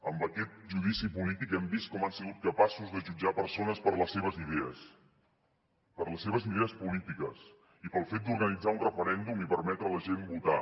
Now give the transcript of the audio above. amb aquest judici polític hem vist com han sigut capaços de jutjar persones per les seves idees per les seves idees polítiques i pel fet d’organitzar un referèndum i permetre a la gent votar